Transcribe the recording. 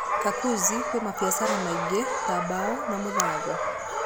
Kakuzi kwĩ mabiacara maingĩ ta mbao na mũthanga.